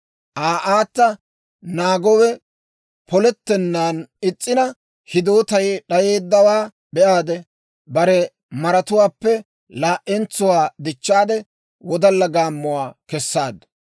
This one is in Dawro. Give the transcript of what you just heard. «Aa aata naagowe polettennaan is's'ina, hidootay d'ayeeddawaa be'aade, bare maratuwaappe laa"entsuwaa dichchaade, wodalla gaammuwaa kessaaddu.